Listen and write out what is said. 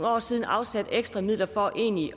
år siden afsatte ekstra midler for egentlig